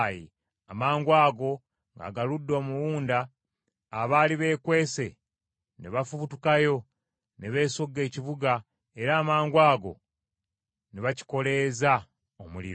Amangwago ng’agaludde omuwunda abaali beekwese ne bafubutukayo ne besogga ekibuga era amangwago ne bakikoleeza omuliro.